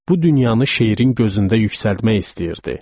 Bu dünyanı şeirin gözündə yüksəltmək istəyirdi.